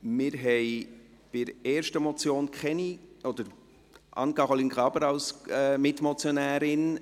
Wir haben bei der ersten Motion Anne-Caroline Graber als Mitmotionärin;